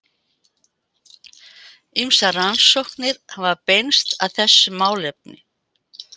Ýmsar rannsóknir hafa beinst að þessu málefni.